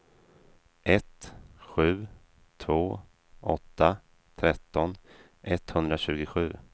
ett sju två åtta tretton etthundratjugosju